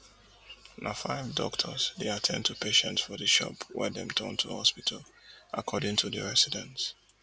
na five doctors dey at ten d to patients for di shop wey dem turn to hospital according to residents